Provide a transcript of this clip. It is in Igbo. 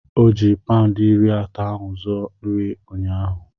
Ọ ji paụndị iri atọ ahụ zuo nri ụnyaahụ.